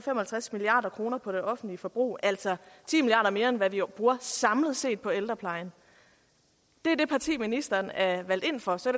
halvtreds milliard kroner på det offentlige forbrug altså ti milliarder mere end hvad vi samlet set bruger på ældreplejen det er det parti ministeren er valgt ind for så